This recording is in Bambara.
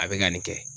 A bɛ ka nin kɛ